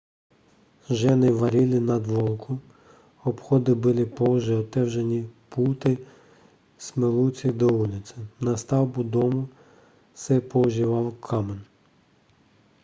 ženy vařily na dvorku obchody byly pouze otevřené pulty směřující do ulice na stavbu domů se používal kámen